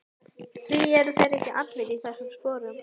Því eru þeir ekki allir í þessum sporum?